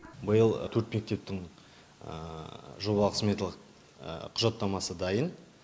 биыл төрт мектептің жобалық сметалық құжаттамасы дайын